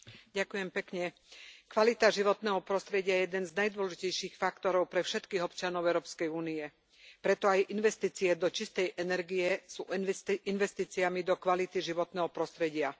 Pani predsedajúca, kvalita životného prostredia je jeden z najdôležitejších faktorov pre všetkých občanov Európskej únie. Preto aj investície do čistej energie sú investíciami do kvality životného prostredia.